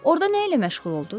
Orda nə ilə məşğul olduz?